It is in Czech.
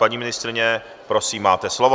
Paní ministryně, prosím, máte slovo.